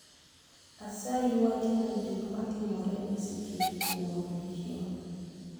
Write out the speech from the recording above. Asayi wachna gik matimore esechegi kuom odiechieng'